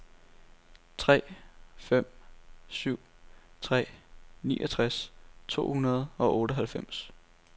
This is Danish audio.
tre fem syv tre niogtres to hundrede og otteoghalvfems